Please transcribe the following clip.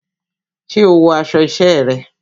Ṣé o wọ aṣọ isẹ́ rẹ?